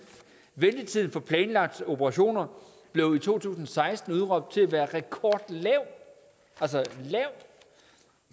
ventetiden for planlagte operationer blev i to tusind og seksten udråbt til at være rekordlav altså